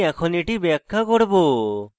আমি এখন এটি ব্যাখ্যা করব